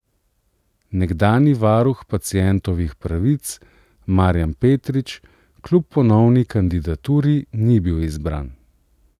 Nekdanji varuh pacientovih pravic Marjan Petrič kljub ponovni kandidaturi ni bil izbran.